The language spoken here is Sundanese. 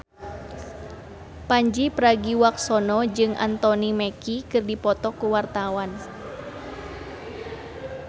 Pandji Pragiwaksono jeung Anthony Mackie keur dipoto ku wartawan